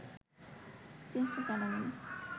চেষ্টা চালানো